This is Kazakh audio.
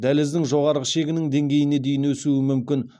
дәліздің жоғары шегінің деңгейіне дейін өсуі мүмкін